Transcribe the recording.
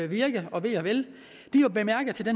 virke og ve og vel